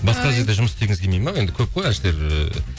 басқа жерде жұмыс істегіңіз келмейді ме енді көп қой әншілер ыыы